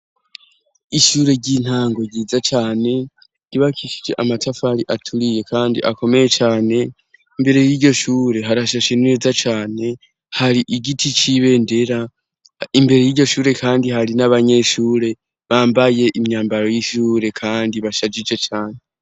Ishure ry'intango ryiza cane ryubakishije amatafari aturiye kandi akomeye cane imbere y'iryoshure harashashe neza cane hari igiti c'ibendera imbere y'iryoshure kandi hari n'abanyeshure bambaye imyambaro y'ishure kandi bashajije cane.